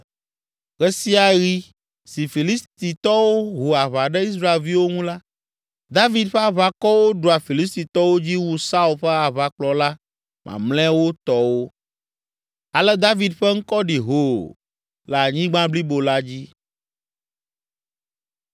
Ɣe sia ɣi si Filistitɔwo ho aʋa ɖe Israelviwo ŋu la, David ƒe aʋakɔwo ɖua Filistitɔwo dzi wu Saul ƒe aʋakplɔla mamlɛawo tɔwo. Ale David ƒe ŋkɔ ɖi hoo le anyigba blibo la dzi.